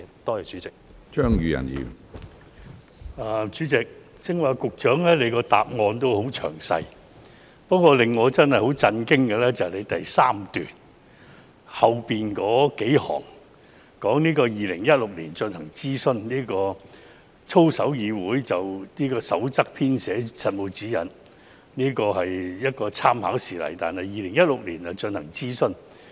主席，局長剛才的主體答覆十分詳細，不過，令我真的感到很震驚的是，局長在主體答覆第三段的最後數行說，操守議會"曾就《守則》編寫實務指引及參考事例，並於2016年進行諮詢。